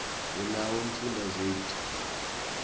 unawo umfundazate